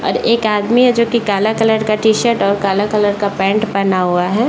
और एक आदमी है जो की काला कलर का टी-शर्ट और काला कलर का पेंट पेहना हुआ है।